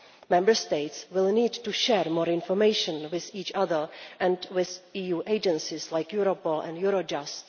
Member States will need to share more information with each other and with EU agencies like Europol and Eurojust.